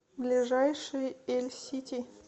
ближайший эльсити